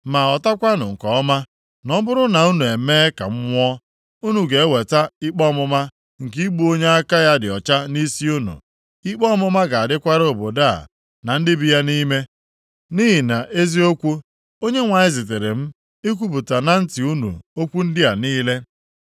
Ma ghọtakwanụ nke ọma, na ọ bụrụ na unu emee ka m nwụọ, unu ga-eweta ikpe ọmụma nke igbu onye aka ya dị ọcha nʼisi unu. Ikpe ọmụma ga-adịkwara obodo a na ndị bi nʼime ya, nʼihi na eziokwu, Onyenwe anyị zitere m ikwupụta na ntị unu okwu ndị a niile.”